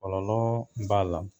Kɔlɔlɔ b'a la.